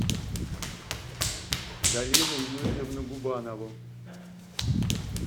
галину юрьевну губанову